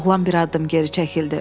Oğlan bir addım geri çəkildi.